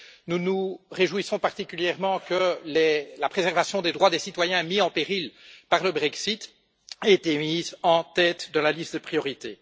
Nous nous réjouissons particulièrement que la préservation des droits des citoyens, mis en péril par le Brexit, ait été mise en tête de la liste des priorités.